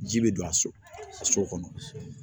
Ji bɛ don a so a so kɔnɔ